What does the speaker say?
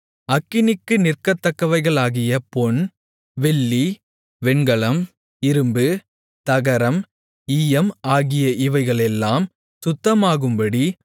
அக்கினிக்கு நிற்கத்தக்கவைகளாகிய பொன் வெள்ளி வெண்கலம் இரும்பு தகரம் ஈயம் ஆகிய இவைகளெல்லாம் சுத்தமாகும்படி